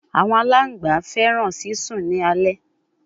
Awọn alangba fẹràn sisùn ni alẹ